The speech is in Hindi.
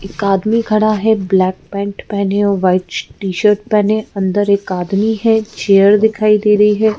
एक आदमी खड़ा है ब्लैक पैंट पहने और वाइट टी-शर्ट पहने अंदर एक आदमी है चेयर दिखाई दे रही है।